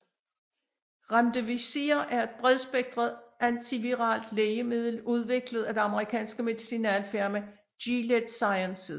Remdesivir er et bredspektret antiviralt lægemiddel udviklet af det amerikanske medicinalfirma Gilead Sciences